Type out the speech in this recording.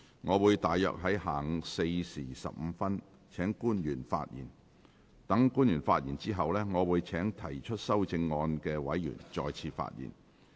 我會約於下午4時15分請官員發言。待官員發言後，我會請提出修正案的委員再次發言。